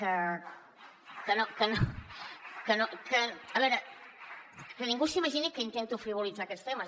a veure que ningú s’imagini que intento frivolitzar aquests temes